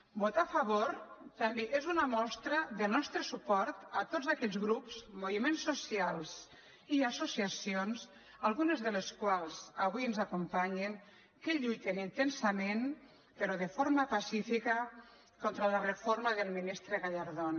votar a favor també és una mostra del nostre suport a tots aquells grups moviments socials i associacions algunes de les quals avui ens acompanyen que lluiten intensament però de forma pacífica contra la reforma del ministre gallardón